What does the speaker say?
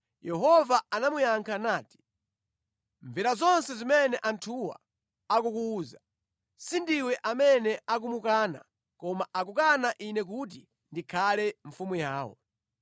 Yehova anamuyankha nati, “Mvera zonse zimene anthuwa akukuwuza. Si ndiwe amene akumukana, koma akukana Ine kuti ndikhale mfumu yawo.